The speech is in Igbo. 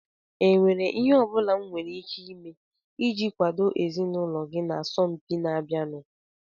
Ọ nwèrè ihe ọ bụla m nwere ike ime iji kwàdo ezinụlọ gị na asọmpi na-abịanụ?